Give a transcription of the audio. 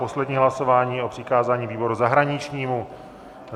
Poslední hlasování o přikázání výboru zahraničnímu.